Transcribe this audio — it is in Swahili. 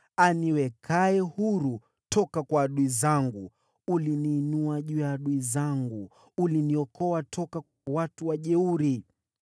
aniwekaye huru toka kwa adui zangu. Uliniinua juu ya adui zangu; uliniokoa toka kwa watu wajeuri.